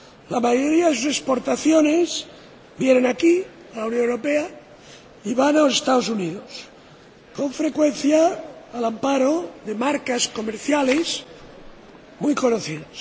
La mayoría de sus exportaciones vienen aquí, a la Unión Europea, o van a los Estados Unidos, con frecuencia al amparo de marcas comerciales muy conocidas.